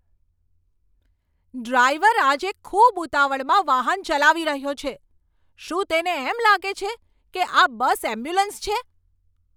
Driver આજે ખૂબ ઉતાવળમાં વાહન ચલાવી રહ્યો છે. શું તેને એમ લાગે છે કે આ બસ એમ્બ્યુલન્સ છે?